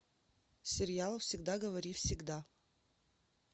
сериал всегда говори всегда